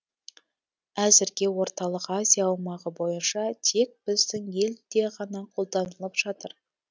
әзірге орталық азия аумағы бойынша тек біздің елде ғана қолданылып жатыр